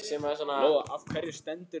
Lóa: Af hverju stendurðu hér?